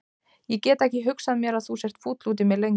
Ég get ekki hugsað mér að þú sért fúll út í mig lengur.